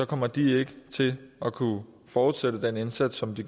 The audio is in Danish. kommer de ikke til at kunne fortsætte den indsats som de